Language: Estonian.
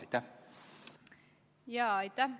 Aitäh!